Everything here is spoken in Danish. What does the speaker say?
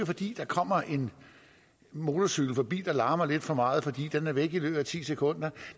fordi der kommer en motorcykel forbi der larmer lidt for meget for den er væk i løbet af ti sekunder